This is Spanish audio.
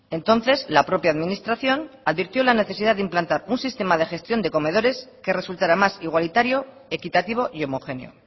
entonces la propia administración advirtió la necesidad de implantar un sistema de gestión de comedores que resultara más igualitario equitativo y homogéneo